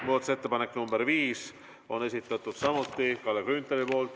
Muudatusettepanek nr 5 on samuti Kalle Grünthali esitatud.